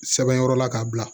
Sɛbɛn yɔrɔ la k'a bila